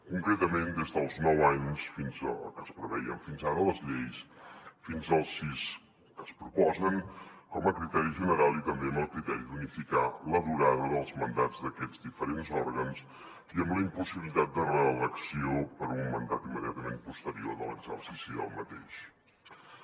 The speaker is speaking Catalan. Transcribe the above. concretament des dels nou anys que es preveien fins ara a les lleis fins als sis que es proposen com a criteri general i també amb el criteri d’unificar la durada dels mandats d’aquests diferents òrgans i amb la impossibilitat de reelecció per a un mandat immediatament posterior de l’exercici d’aquest